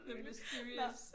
The mysterious